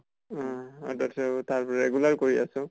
উম । regular কৰি আছো ।